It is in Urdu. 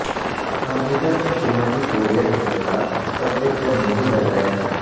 امریکہ نے شمالی کوریا کے خلاف طبل جنگ نہیں بجایا ہے